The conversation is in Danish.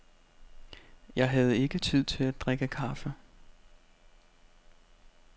Jeg havde ikke tid til at drikke kaffe.